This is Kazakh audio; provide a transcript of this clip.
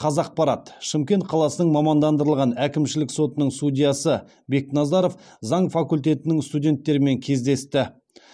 қазақпарат шымкент қаласының мамандандырылған әкімшілік сотының судьясы бекназаров заң факультетінің студенттерімен кездесті